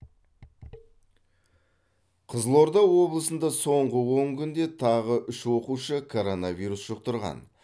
қызылорда облысында соңғы он күнде тағы үш оқушы коронавирус жұқтырған